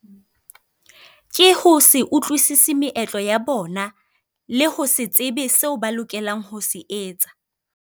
Ke ho se utlwisise meetlo ya bona, le ho se tsebe seo ba lokelang ho se etsa.